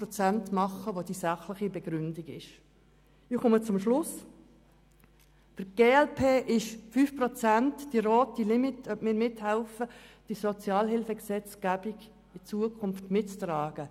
Für die glp sind die 5 Prozent die rote Linie, ob wir mithelfen, die Sozialhilfegesetzgebung in Zukunft mitzutragen.